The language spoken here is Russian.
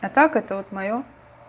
а так это вот моё